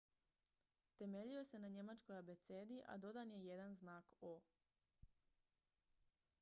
"temeljio se na njemačkoj abecedi a dodan je jedan znak "õ/õ"".